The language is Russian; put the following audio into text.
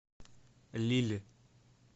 лилль